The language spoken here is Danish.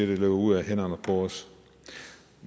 det løber ud af hænderne på os